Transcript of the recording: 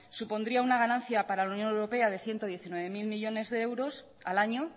supondría una ganancia para la unión europea de ciento diecinueve mil millónes de euros al año